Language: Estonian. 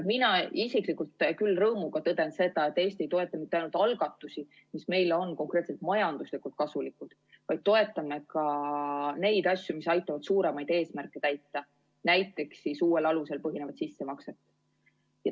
Mina isiklikult küll rõõmuga tõden seda, et Eesti ei toeta mitte ainult algatusi, mis on meile majanduslikult kasulikud, vaid toetame ka neid asju, mis aitavad suuremaid eesmärke täita, näiteks uuel alusel põhinevat sissemakset.